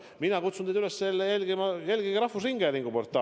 Mina kutsun teid üles: jälgige rahvusringhäälingu portaali.